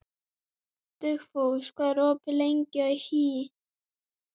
Dugfús, hvað er opið lengi í HÍ?